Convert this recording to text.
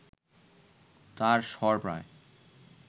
তাঁর স্বর প্রায়